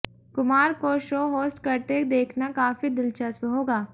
कुमार को show host करते देखना काफी दिलचस्प होगा